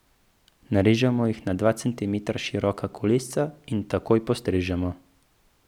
Narežemo jih na dva centimetra široka kolesca in takoj postrežemo.